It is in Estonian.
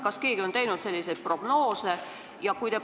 Kas keegi on teinud selle kohta prognoose?